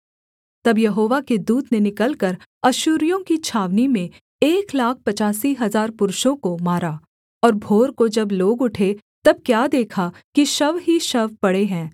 तब यहोवा के दूत ने निकलकर अश्शूरियों की छावनी में एक लाख पचासी हजार पुरुषों को मारा और भोर को जब लोग उठे तब क्या देखा कि शव ही शव पड़े हैं